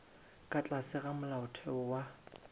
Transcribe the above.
ka tlase ga molaotheo wa